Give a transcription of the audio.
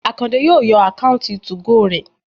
Àkàndé yóò yọ àkáùntì 2go rẹ̀